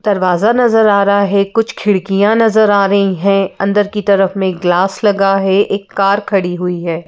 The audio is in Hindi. दरवाज़ा नजर आ रहा है कुछ खिड़कियां नजर आ रही हैं अंदर की तरफ में एक ग्लास लगा है एक कार खड़ी हुई है।